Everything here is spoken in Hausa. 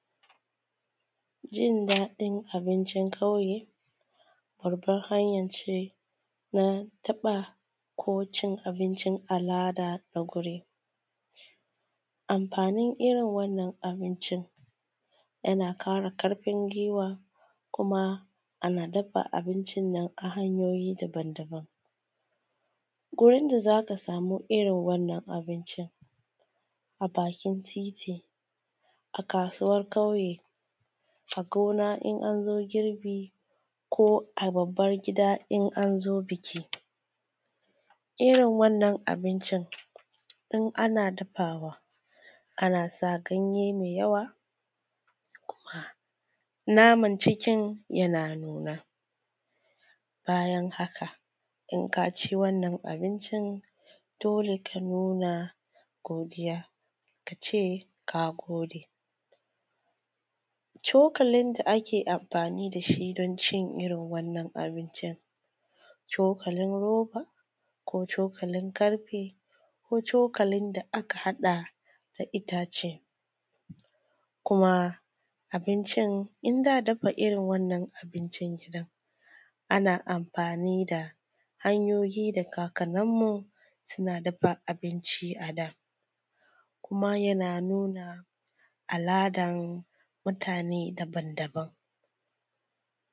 Jin-daɗin abincin ƙauye, babban hanya ce na taɓa ko cin abincin al’ada a wuri, amfaanin irin wannan abincin yana ƙara ƙarfin gwiwa kuma ana dafa abincin nan ta hanyoyi daban-daban, wurin da za ka samu irin wannan abincin a bakin titi a kaasuwar ƙauye, a gona in an zo girbi ko a babbar gida in an zo biki, Irin wannan abincin in ana dafawa ana sa ganye mai yawa, kuma naman cikin yana nuna. Bayan haka in kaa ci wannan abincin dole ka nuna godiya, ka ce kaa gode cokalin da ake amfaani da shi don cin wannan abincin, cokalin roba ko cokalin ƙarfe ko cokalin da aka haɗa na itaace kuma abincin, in za dafa irin wannan abincin ɗin ana amfaani da hanyoyi daga kaakannin mu suna dafa abinci a daa, kuma yana nuna al’adan mutaane daban-daban.